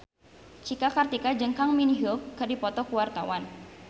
Cika Kartika jeung Kang Min Hyuk keur dipoto ku wartawan